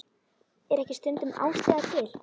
Er ekki stundum ástæða til?